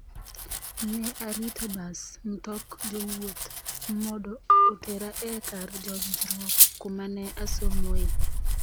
Ne arito bas (mtok jowuoth) modo otera e kar juonjruok kuma ne asomoe